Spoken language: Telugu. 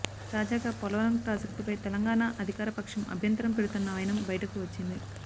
తాజాగా పోలవరం ప్రాజెక్టుపై తెలంగాణ అధికారపక్షం అభ్యంతరం పెడుతున్న వైనం బయటకు వచ్చింది